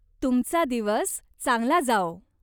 तुमचा दिवस चांगला जाओ.